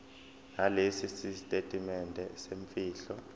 nalesi sitatimende semfihlo